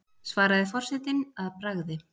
svaraði forsetinn að bragði.